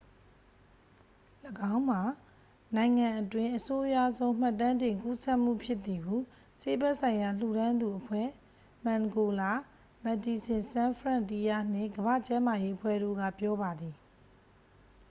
၎င်းမှာနိုင်ငံအတွင်း အဆိုးရွားဆုံးမှတ်တမ်းတင် ကူးစက်မှုဖြစ်သည်ဟု ဆေးဘက်ဆိုင်ရာ လှူဒါန်းသူအဖွဲ့ မန်ဂိုလာ မက်ဒီဆင်ဆန်းဖရန့်တီးယားနှင့် ကမ္ဘာ့ကျန်းမာရေးအဖွဲ့တို့က ပြောပါသည်